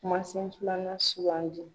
Kumasen filanan sugandi.